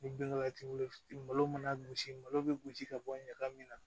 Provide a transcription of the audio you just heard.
Ni binkala t'i bolo malo mana gosi malo bɛ gosi ka bɔ ɲagami na